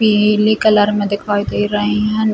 पीली कलर में दिखाई दे रही हैं।